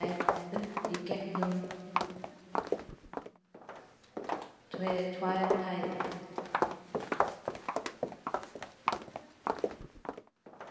Kapellan nær upp í gegnum tvær hæðir.